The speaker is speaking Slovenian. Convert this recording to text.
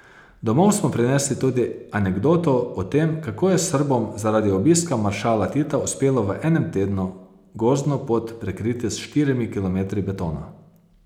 Domov smo prinesli tudi anekdoto o tem, kako je Srbom zaradi obiska maršala Tita uspelo v enem tednu gozdno pot prekriti s štirimi kilometri betona.